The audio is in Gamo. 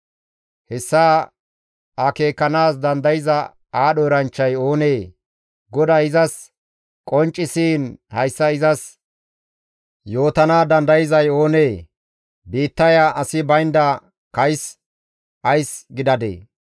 Hessa akeekanaas dandayza aadho eranchchay oonee? GODAY izas qonccisiin hayssa izas yootana dandayzay oonee? Biittaya asi baynda kays ays gidadee?